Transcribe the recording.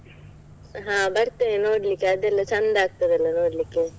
ಹಾ ಬರ್ತೇವೆ ನೋಡ್ಲಿಕ್ಕೆ, ಅದೆಲ್ಲ ಚಂದ ಆಗ್ತದಲ್ಲ ನೋಡ್ಲಿಕ್ಕೆ.